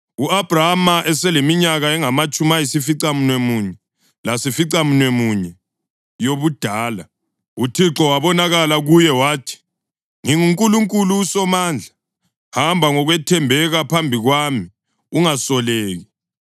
U-Abhrama eseleminyaka engamatshumi ayisificamunwemunye lasificamunwemunye yobudala, uThixo wabonakala kuye wathi, “NginguNkulunkulu uSomandla; hamba ngokwethembeka phambi kwami, ungasoleki.